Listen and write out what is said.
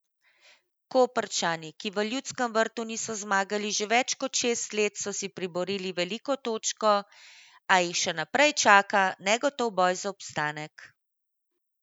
Koprčani, ki v Ljudskem vrtu niso zmagali že več kot šest let, so si priborili veliko točko, a jih še naprej čaka negotov boj za obstanek.